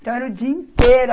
Então era o dia inteiro.